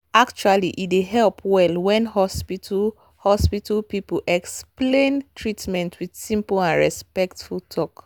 actually e dey help well when hospital hospital people explain treatment with simple and respectful talk.